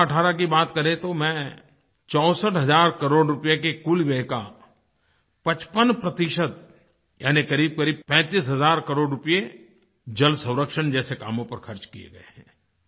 201718 की बात करें तो मैं 64 हज़ार करोड़ रूपए के कुल व्यय का 55 यानी क़रीबक़रीब 35 हज़ार करोड़ रूपए जलसंरक्षण जैसे कामों पर खर्च किये गए हैं